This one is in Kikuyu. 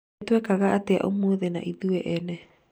nĩ twekaga atia ũmũthĩ na ithuĩ ene